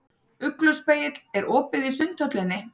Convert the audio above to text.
Ugluspegill, er opið í Sundhöllinni?